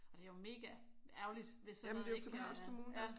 Og det er jo mega ærgerligt hvis sådan noget ikke øh